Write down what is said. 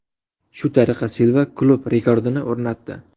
Shu tariqa Silva klub rekordini o‘rnatdi .